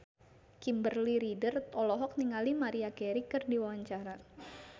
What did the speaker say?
Kimberly Ryder olohok ningali Maria Carey keur diwawancara